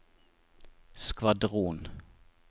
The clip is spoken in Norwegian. skvadron